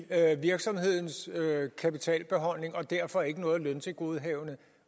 virksomhedens kapitalbeholdning og derfor ikke noget løntilgodehavende